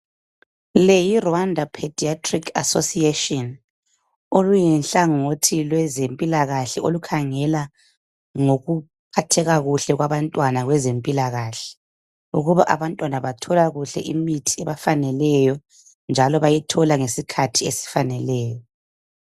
Leyi yi"Rwanda pediatric association",oluyihlangothi lwezempilakahle olukhangela ngokuphatheka kuhle kwabantwana kwezempilakahle ukuba abantwana bathola kuhle imithi ebafaneleyo njalo bayithola ngesikhathi esifaneleyo.